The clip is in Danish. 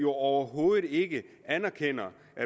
overhovedet ikke anerkender